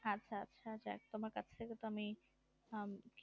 হু